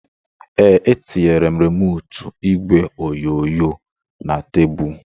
Ee, etinyere m remootu igwe onyonyo na tebụlu